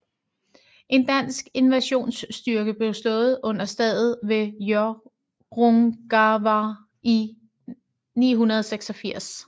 En dansk invasionsstyrke blev slået under slaget ved Hjörungavágr i 986